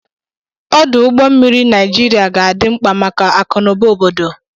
Ọdụ ụgbọ mmiri Naijiria ga-adị mkpa maka akụnụba obodo.